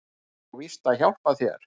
Ég á víst að hjálpa þér.